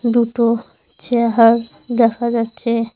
দুটো চেয়ার দেখা যাচ্ছে।